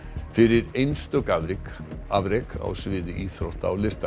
fyrir einstök afrek afrek á sviði íþrótta og lista